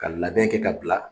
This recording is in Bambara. Ka labɛn kɛ ka bila